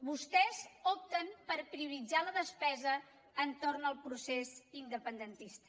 vostès opten per prioritzar la despesa entorn del procés independentista